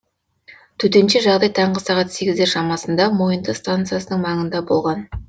төтенше жағдай таңғы сағат сегіздер шамасында мойынты станциясының маңында болған